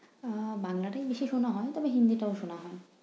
আহ বাংলাটাই বেশি শোনা হয় তবে হিন্দিটাও শোনা হয়।